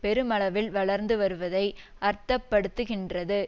பெருமளவில் வளர்ந்து வருவதை அர்த்த படுத்துகின்றது